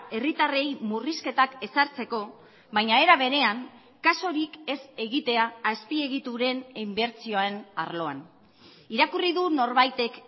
herritarrei murrizketak ezartzeko baina era berean kasurik ez egitea azpiegituren inbertsioen arloan irakurri du norbaitek